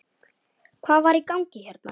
Hvað var í gangi hérna?